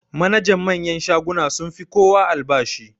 Manajan manyan shaguna sun fi kowa albashi.